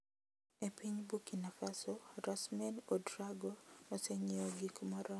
E piny Burkina Faso Rasmane Ouedraogo osenyiewo gik moromo.